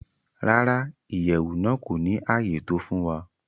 Rárá, Iyẹwu naa ko ni aye to fun wa.